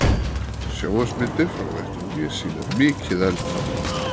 Sjónvarpsmyndir frá vettvangi sýna mikið eldhaf